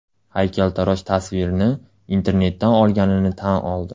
Haykaltarosh tasvirni internetdan olganini tan oldi.